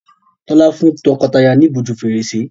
Tola fún tọkọtaya ní ìbòjú Fèrèsé